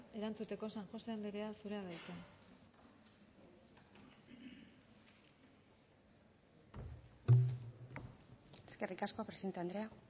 erantzuteko san jose andrea zurea da hitza eskerrik asko presidente andrea